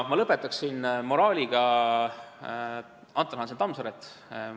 Ma lõpetaksin moraaliga A. H. Tammsaarelt.